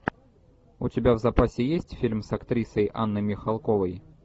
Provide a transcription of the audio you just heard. у тебя в запасе есть фильм с актрисой анной михалковой